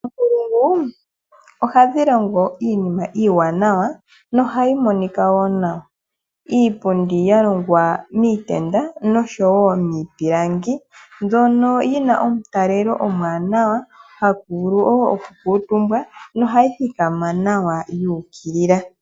Oonkulungu, ohadhi longo iinima iiwanawa nohayi monika woo nawa. Iipundi ya longwa miitenda nosho wo miipilangi, mbyono yina omutalelo omuwanawa, haku vulu wo oku kuutumbwa, nohayi thikama nawa ya ukilila.